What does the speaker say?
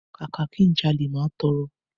Kàkà ki n jalè, máa tọrọ.